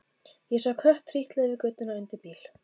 Ég sá kött trítla yfir götuna undir bíl.